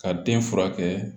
Ka den furakɛ